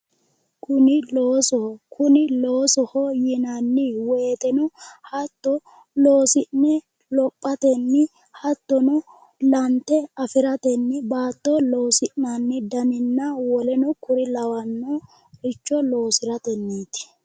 Kuni loosoho kuni loosoho yinanni woyteno hatto loosi'ne lophatenni hattono lante afiratenni baatto loosi'nanni daninna woleno kuri lawannoricho loosiratenniiti